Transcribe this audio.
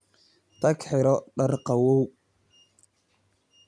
Tag xidho dhar qabow.